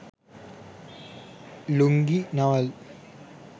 lungi navel